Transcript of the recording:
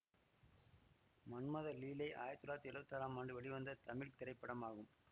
மன்மத லீலை ஆயிரத்தி தொள்ளாயிரத்தி எழுவத்தி ஆறாம் ஆண்டு வெளிவந்த தமிழ் திரைப்படமாகும்